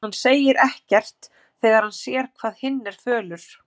En hann segir ekkert þegar hann sér hvað hinn er fölur.